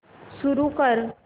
सुरू कर